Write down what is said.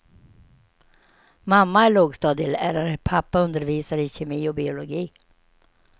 Mamma är lågstadielärare, pappa undervisar i kemi och biologi.